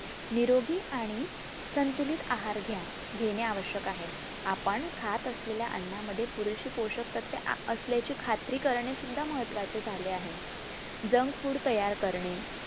निरोगी आणि संतुलित आहार घ्या घेणे आवश्यक आहे. आपण खात असलेल्या अन्ना मध्ये पुरेशे पोषक तत्वे अं असल्याची खात्री करणे सुद्धा महत्वाचे झाले आहे. junk food तयार करणे